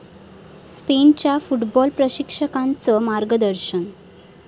स्पेनच्या फुटबॉल प्रशिक्षकांचं मार्गदर्शन